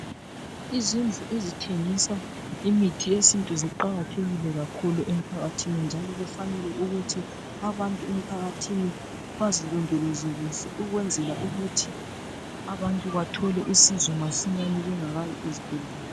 Izindlu ezithengisa imithi yesintu ziqakathekile kakhulu emphakathini njalo kufanele ukuthi abantu emphakathini bazilondoloze kuhle ukwenzela ukuthi abantu bathole usizo masinyane bengakayi ezibhedlela.